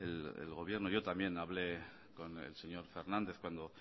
bueno el gobierno yo también hablé con el señor fernández